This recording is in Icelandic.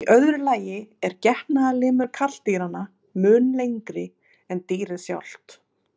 Í öðru lagi er getnaðarlimur karldýranna mun lengri en dýrið sjálft.